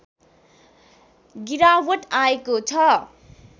गिरावट आएको छ